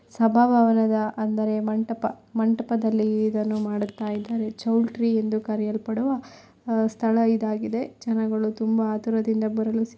ಸಭಾಭವನದ ಅಂದರೆ ಮಂಟಪ ಮಂಟಪದಲ್ಲಿ ಇದನ್ನು ಮಾಡುತ್ತಾರೆ. ಚೌಟ್ರಿ ಎಂದು ಕರೆಯಲ್ಪಡುವ ಸ್ಥಳ ಇದಾಗಿದೆ. ಜನಗಳು ತುಂಬಾ ಆತರದಿಂದ ಬರಲು ಸಿ--